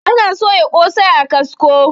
ana soya kosai a kasko